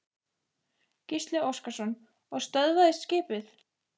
Gísli Óskarsson: Og stöðvaðist skipið?